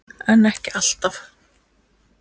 en ekki alltaf